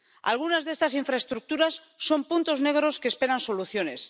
Algunas de estas infraestructuras son puntos negros que esperan soluciones.